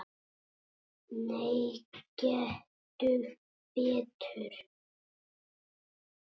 Nei, gettu betur